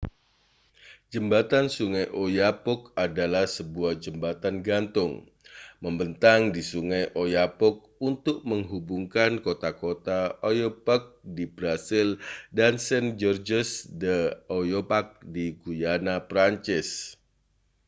jembatan sungai oyapock adalah sebuah jembatan gantung membentang di sungai oyapock untuk menghubungkan kota-kota oiapoque di brasil dan saint-georges de i'oyapock di guyana prancis